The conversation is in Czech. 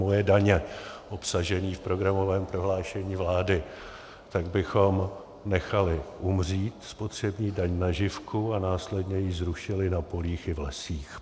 Moje daně obsažený v programovém prohlášení vlády, tak bychom nechali umřít spotřební daň na živku a následně ji zrušili na polích i v lesích.